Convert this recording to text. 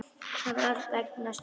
Það var allt vegna Stínu.